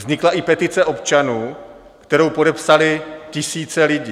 Vznikla i petice občanů, kterou podepsaly tisíce lidí.